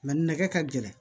Nka nɛgɛ ka gɛlɛn